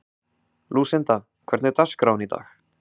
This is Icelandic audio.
Lúsinda, hvernig er dagskráin í dag?